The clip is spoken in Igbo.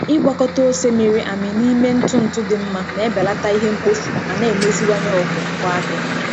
Ịgwakọta ose mịrị amị n'ime ntụ ntụ dị mma na-ebelata ihe mkpofu ma na-emeziwanye ogo ngwaahịa.